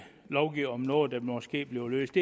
lovgive om noget der måske bliver løst